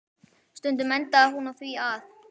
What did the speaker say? Stundum endaði hún á því að